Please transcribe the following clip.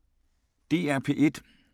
DR P1